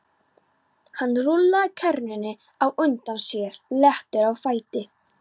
Hann rúllaði kerrunni á undan sér léttur á fæti.